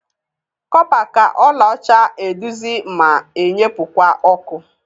Kọpa ka ọla ọcha eduzi ma enyepụkwa ọkụ.